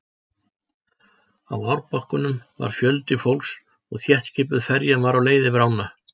Á árbakkanum var fjöldi fólks og þéttskipuð ferjan var á leið yfir ána.